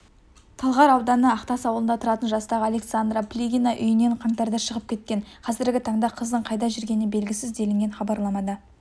талғар ауданы ақтас ауылында тұратын жастағы александра плигина үйінен қаңтарда шығып кеткен қазіргі таңда қыздың қайда жүргені белгісіз делінген хабарламада